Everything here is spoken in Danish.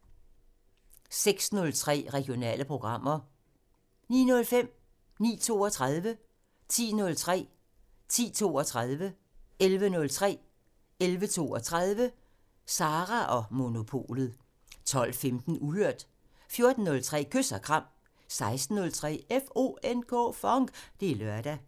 06:03: Regionale programmer 09:05: Sara & Monopolet 09:32: Sara & Monopolet 10:03: Sara & Monopolet 10:32: Sara & Monopolet 11:03: Sara & Monopolet 11:32: Sara & Monopolet 12:15: Uhørt 14:03: Kys og kram 16:03: FONK! Det er lørdag